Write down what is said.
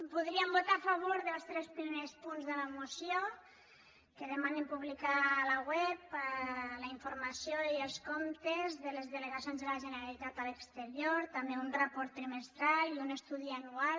podríem votar a favor dels tres primers punts de la moció que demanen publicar a la web la informació i els comptes de les delegacions de la generalitat a l’exterior també un report trimestral i un estudi anual